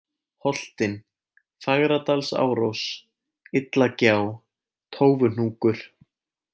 Holtin, Fagradalsárós, Illagjá, Tófuhnúkur